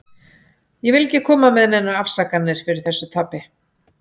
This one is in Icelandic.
Ég vil ekki koma með neinar afsakanir fyrir þessu tapi.